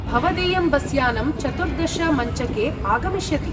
भवदीयं बसयानं चतुर्दश मञ्चके आगमिष्यति।